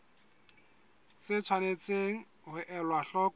tse tshwanetseng ho elwa hloko